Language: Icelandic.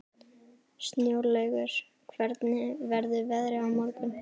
Snjólaugur, hvernig verður veðrið á morgun?